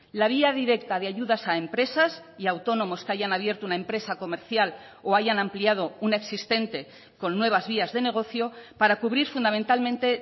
la vía directa de ayudas a empresas y autónomos que hayan abierto una empresa comercial o hayan ampliado una existente con nuevas vías de negocio para cubrir fundamentalmente